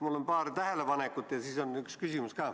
Mul on paar tähelepanekut ja on ka üks küsimus.